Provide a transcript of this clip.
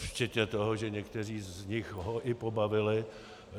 Včetně toho, že někteří z nich ho i pobavili.